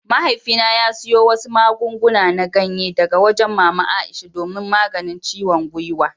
Mahaifina ya siyo wasu magunguna na ganye daga wajen mama Aisha domin maganin ciwon gwiwa.